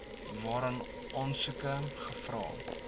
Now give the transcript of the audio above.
waarin aansoeke gevra